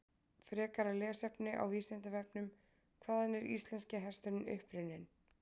Frekara lesefni á Vísindavefnum: Hvaðan er íslenski hesturinn upprunninn?